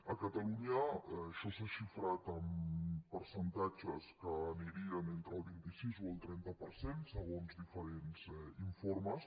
a catalunya això s’ha xifrat en percentatges que anirien entre el vint sis o el trenta per cent segons diferents informes